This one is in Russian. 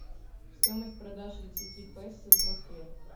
стоимость продажи десяти песо в москве